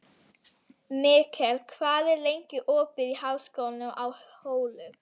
Mikkel, hvað er lengi opið í Háskólanum á Hólum?